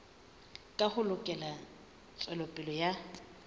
ka ho lekola tswelopele ya